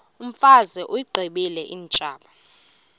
imfazwe uyiqibile utshaba